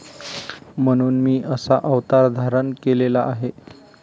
म्हणून मी असा अवतार धारण केलेला आहे